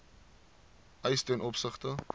eis ten opsigte